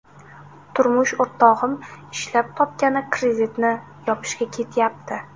Turmush o‘rtog‘im ishlab topgani kreditni yopishga ketyapti.